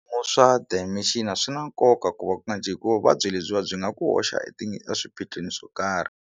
Swa dementia swi na nkoka ku hikuva vuvabyi lebyiwa byi nga ku hoxa eswiphiqhweni swo karhi.